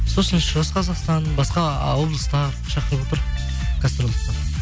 сосын шығыс қазақстан басқа облыстар шақырыватыр гастрольдік